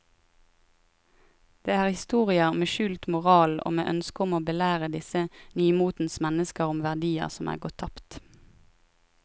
Det er historier med skjult moral og med ønske om å belære disse nymotens mennesker om verdier som er gått tapt.